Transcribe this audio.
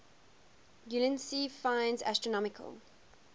ulansey finds astronomical